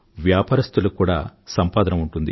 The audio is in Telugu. వ్యాపారస్థులకి కూడా సంపాదన ఉంటుంది